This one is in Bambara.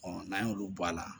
n'an y'olu bɔ a la